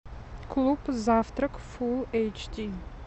клуб завтрак фулл эйч ди